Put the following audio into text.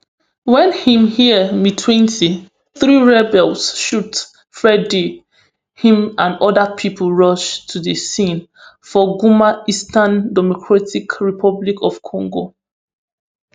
wen im hear say mtwenty-three rebels shoot freddy im and oda pipo rush to di scene for goma eastern democratic republic of congo